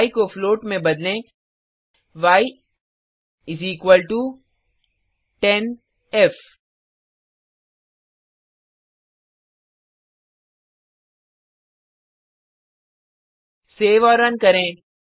य को फ्लोट में बदलें y10f सेव और रन करें